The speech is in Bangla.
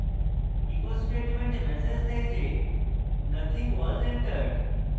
echo statement ম্যাসেজ দেয় the nothing was entered